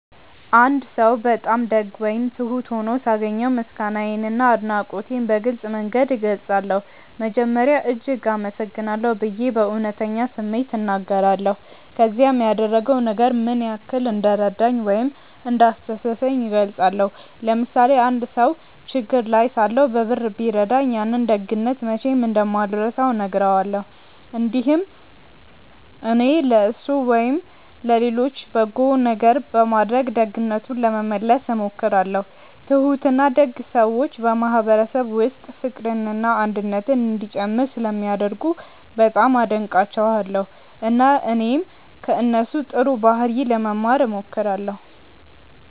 አንድ ሰው በጣም ደግ ወይም ትሁት ሆኖ ሳገኘው ምስጋናዬንና አድናቆቴን በግልጽ መንገድ እገልጻለሁ። መጀመሪያ “እጅግ አመሰግናለሁ” ብዬ በእውነተኛ ስሜት እናገራለሁ፣ ከዚያም ያደረገው ነገር ምን ያህል እንደረዳኝ ወይም እንዳስደሰተኝ እገልጻለሁ። ለምሳሌ አንድ ሰው ችግር ላይ ሳለሁ በብር ቢረዳኝ፣ ያንን ደግነት መቼም እንደማልረሳው እነግረዋለሁ። እንዲሁም እኔም ለእሱ ወይም ለሌሎች በጎ ነገር በማድረግ ደግነቱን ለመመለስ እሞክራለሁ። ትሁትና ደግ ሰዎች በማህበረሰብ ውስጥ ፍቅርና አንድነት እንዲጨምር ስለሚያደርጉ በጣም አደንቃቸዋለሁ፣ እና እኔም ከእነሱ ጥሩ ባህሪ ለመማር እሞክራለሁ።